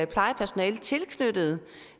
plejepersonale tilknyttet